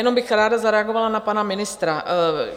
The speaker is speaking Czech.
Jenom bych ráda zareagovala na pana ministra.